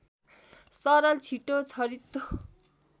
सरल र छिटो छरितो